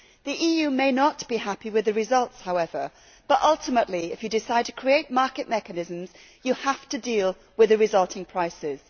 The EU may not be happy with the results, but ultimately if you decide to create market mechanisms you have to deal with the resulting prices.